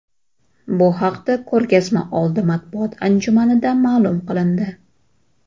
Bu haqda ko‘rgazmaoldi matbuot anjumanida ma’lum qilindi.